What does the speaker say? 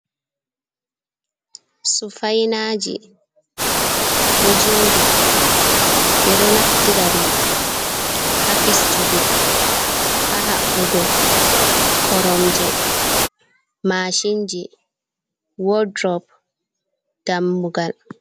Sufainaji ɗo joɗi ɓe ɗo naftira ɗum ha fistugo ha haɓɓugo korom je, mashinji, word rop, dammugal.